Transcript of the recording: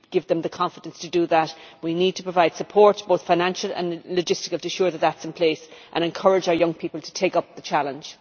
In order to give them the confidence to do that we need to provide support, both financial and logistical to ensure that is in place and encourage our young people to take up the challenge.